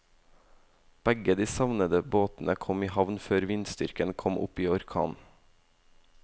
Begge de savnede båtene kom i havn før vindstyrken kom opp i orkan.